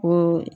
Ko